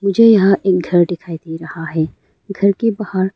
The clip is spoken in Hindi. मुझे यहां एक घर दिखाई दे रहा है घर के बाहर--